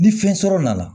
Ni fɛn sɔrɔ nana